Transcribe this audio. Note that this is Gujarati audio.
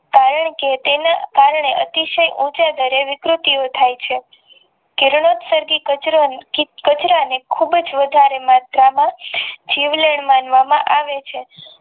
કારણ કે તેને કારણે અતિશય ઉંચાઈ ગણી વિકૃતિઓ થઈ છે કિરણો સર્ગી કચરો ને ખુબજ વધારે માત્રામાં જીવલેણ માનવામાં આવે છે.